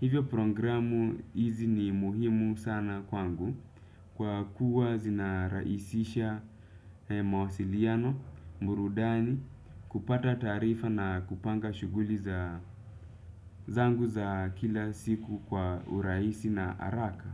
Hivyo programu hizi ni muhimu sana kwangu kwa kuwa zinarahisisha mawasiliano, burudani, kupata taarifa na kupanga shughuli za zangu za kila siku kwa urahisi na haraka.